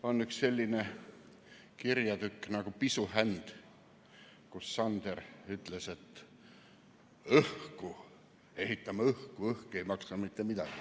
On üks selline kirjatükk nagu "Pisuhänd", kus Sander ütles: "hku – õhku, papa, – õhk ei maksa midagi.